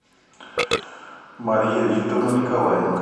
мария викторовна николаенко